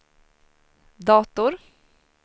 dator